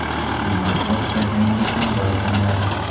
Ushbu mahsulot proteinga ham boy sanaladi.